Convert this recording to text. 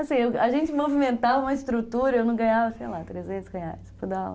Assim, a gente movimentava uma estrutura e eu não ganhava, sei lá, trezentos reais para dar aula.